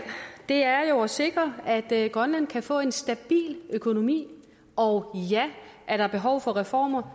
er jo at sikre at grønland kan få en stabil økonomi og ja er der behov for reformer